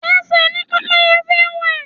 Ẹsẹ̀ ni Pẹ́pẹ́yẹ fi ń wẹ̀.